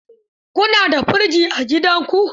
Ku na da firji a gidanku?